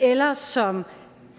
eller som